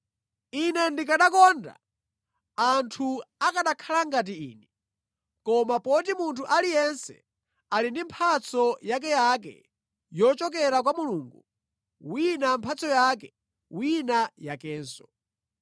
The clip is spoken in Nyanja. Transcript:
Ine ndikanakonda anthu akanakhala ngati ine. Koma poti munthu aliyense ali ndi mphatso yakeyake yochokera kwa Mulungu, wina mphatso yake, wina yakenso.